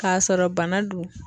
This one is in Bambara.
K'a sɔrɔ bana dun